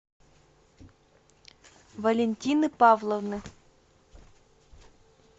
валентины павловны